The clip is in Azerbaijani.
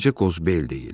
Bircə qozbel deyil.